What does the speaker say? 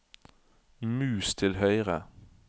mus til høyre